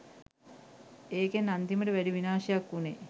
ඒකෙන් අන්තිමට වැඩි විනාශයක් උනේ